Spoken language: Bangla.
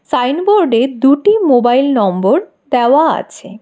সাইনবোর্ডে দুটি মোবাইল নম্বর দেওয়া আছে।